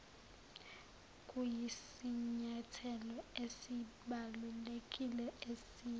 kuyisinyathelo esibalulekile esiya